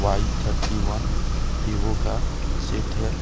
आई thirty one Vivo का set है।